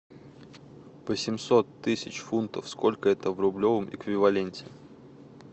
восемьсот тысяч фунтов сколько это в рублевом эквиваленте